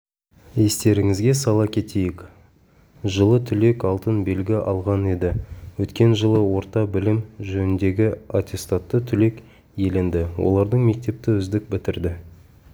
естеріңізге сала кетейік жылы түлек алтын белгі алған еді өткен жылы орта білім жөніндегі атестатты түлек иеленді олардың мектепті үздік бітірді